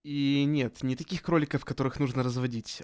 и нет не таких кроликов которых нужно разводить